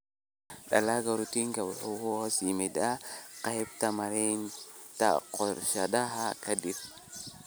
Dalagga Ratoonku waxa uu hoos yimaadaa qaybta maaraynta goosashada kadib